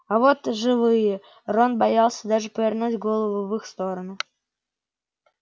а вот живые рон боялся даже повернуть голову в их сторону